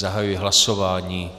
Zahajuji hlasování.